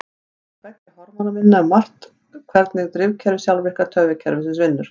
Áhrif beggja hormóna minna um margt á hvernig drifkerfi sjálfvirka taugakerfisins vinnur.